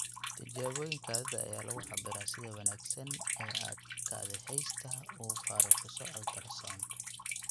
Tijaabooyin kaadida ayaa lagu cabbiraa sida wanaagsan ee aad kaadiheysta uga faaruqiso ultrasound.